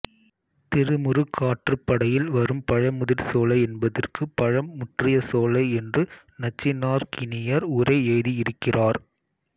திருமுருகாற்றுப்படையில் வரும் பழமுதிர்சோலை என்பதற்கு பழம் முற்றிய சோலை என்று நச்சினார்க்கினியர் உரை எழுதியிருக்கிறார்